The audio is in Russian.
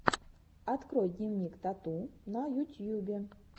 открой дневник тату на ютьюбе